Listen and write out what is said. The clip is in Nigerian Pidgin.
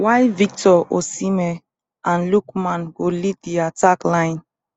while victor osimhen and lookman go lead di attack line